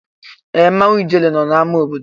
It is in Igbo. Ee! Mmanwụ ijele nọ n'amá obodo.